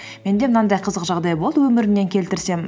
менде мынандай қызық жағдай болды өмірімнен келтірсем